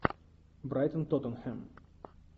брайтон тоттенхэм